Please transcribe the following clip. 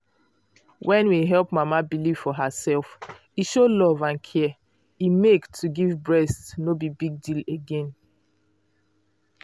when we help mama believe for herself e show love and care e make to give breast no be big deal again.